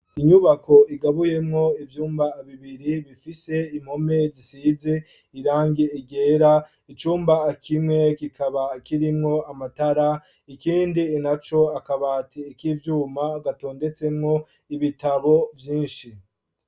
Inyubako igabuyemwo ivyumba bibiri bifise impome gisize irange igera icyumba kimwe kikaba kirimwo amatara ikindi naco akabati ik'ivyuma gatondetsemwo ibitabo vyinshi.